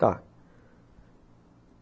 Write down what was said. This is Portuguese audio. Tá.